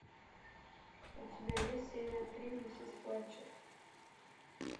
у тебя есть серия три миссис флетчер